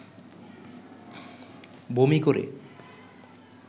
বমি করে